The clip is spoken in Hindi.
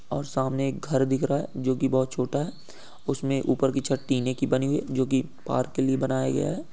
और सामने एक घर दिख रहा है जो की बहुत छोटा है। उमसे ऊपर की छत टीने की बनी हुइ है जो की पार्क के लिए बनाया गया है।